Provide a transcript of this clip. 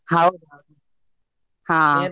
ಹೌದು ಹೌದು .